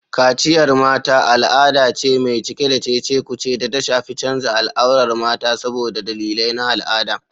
Kaciya (Mata): Al'ada ce mai cike da cece-kuce da ta shafi canza al'aurar mata saboda dalilai na al'ada.